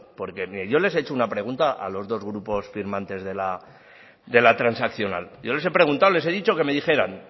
porque miren yo le he hecho una pregunta a los dos grupos firmantes de la transaccional yo les he preguntado les he dicho que me dijeran